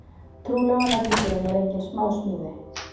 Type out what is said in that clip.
Trúlofunarhringurinn er engin smásmíði